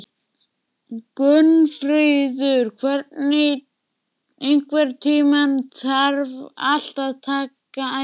Gunnfríður, einhvern tímann þarf allt að taka enda.